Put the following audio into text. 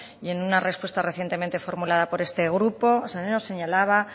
y en una repuestamente formulada por este grupo señalaba